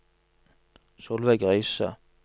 Solveig Riise